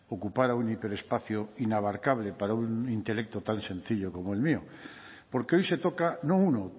ocupara un hiperespacio inabarcable para un intelecto tal sencillo como el mío porque hoy se toca no uno